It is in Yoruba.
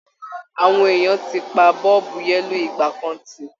Àwọn èèyàn ti pa a bọ́ọ̀bù yẹ́lò ìgbàkan tì